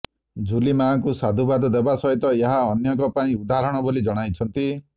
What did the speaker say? ଝୁଲିମାଙ୍କୁ ସାଧୁବାଦ ଦେବା ସହିତ ଏହା ଅନ୍ୟଙ୍କ ପାଇଁ ଉଦାହରଣ ବୋଲି ଜଣାଇଛନ୍ତି